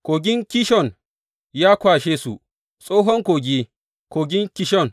Kogin Kishon ya kwashe su, tsohon kogi, kogin Kishon.